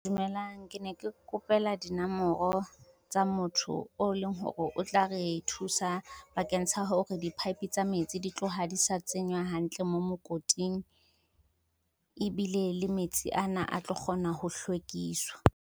Dumelang. Ke ne ke kopela dinomoro tsa motho o leng hore o tla re thusa bakeng sa hore di-pipe tsa metsi di tloha di sa tsenywa hantle mo mokoting, ebile le metsi ana a tlo kgona ho hlwekiswa.